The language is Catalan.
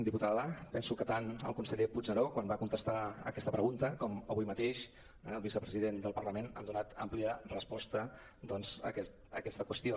diputada penso que tant el conseller puigneró quan va contestar aquesta pregunta com avui mateix el vicepresident del parlament han donat àmplia resposta doncs a aquesta qüestió